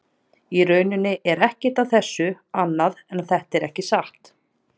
Í rauninni er ekkert að þessu annað en að þetta er ekki satt.